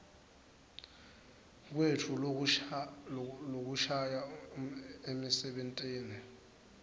kwetfu lokusha emisebentini